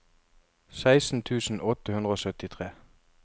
seksten tusen åtte hundre og syttitre